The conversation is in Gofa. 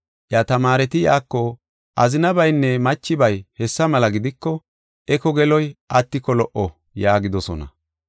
Iya tamaareti iyako, “Azinabaynne machibay hessa mela gidiko eko geloy attiko lo77o” yaagidosona.